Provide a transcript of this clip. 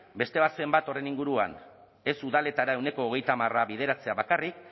beste bat horren inguruan ez udaletara ehuneko hogeita hamarra bideratzea bakarrik